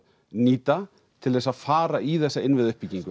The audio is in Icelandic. nýta til að fara í þessa innviðauppbyggingu